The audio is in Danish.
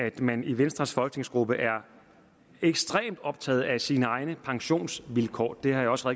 at man i venstres folketingsgruppe er ekstremt optaget af sine egne pensionsvilkår det har jeg også